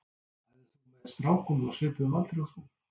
Æfðir þú með strákum á svipuðum aldri og þú?